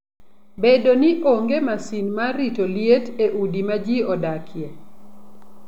Bedo ni onge masin mar rito liet e udi ma ji odakie.